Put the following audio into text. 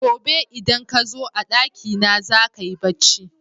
Gobe idan kazo a ɗaki na zaka yi bacci